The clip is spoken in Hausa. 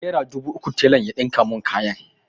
Nera dubu uku telan ya ɗinka mun kayan.